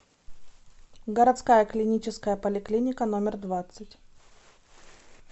городская клиническая поликлиника номер двадцать